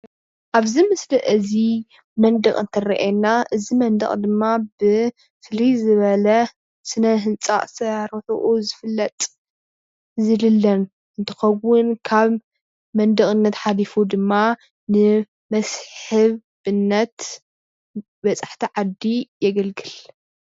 ኣብዚ ምስሊ እዚ መንደቅ ትረአየና እዚ መንደቅ ድማ ብፍልይ ዝበለ ስነ ህንፃ ኣሳራርሑ ዝፍለጥ ዝድለብ እንትከውን ካብ መንደቀነት ሓሊፉ ድማ ንመስሕብ እምነት በፃሕቲ ዓዲ የገልግል።